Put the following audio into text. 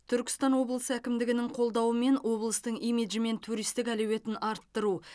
түркістан облысы әкімдігінің қолдауымен облыстың имиджі мен туристік әлеуетін арттыру